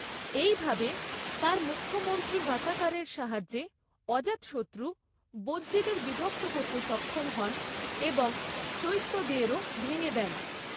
এইভাবে, তাঁর মুখ্যমন্ত্রী ভাসাকারের সাহায্যে, অজাতশত্রু বজ্জীদের বিভক্ত করতে সক্ষম হন এবং চৈত্যদেরও ভেঙে দেন।